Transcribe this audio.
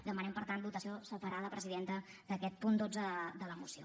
demanem per tant votació separada presidenta d’aquest punt dotze de la moció